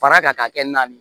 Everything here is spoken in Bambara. Fara kan ka kɛ na ye